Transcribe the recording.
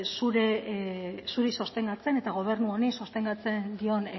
zuri sostengatzen eta gobernu honi sostengatzen dion